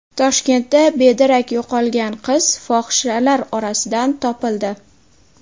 Toshkentda bedarak yo‘qolgan qiz fohishalar orasidan topildi.